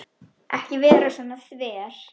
Ekki vera svona þver.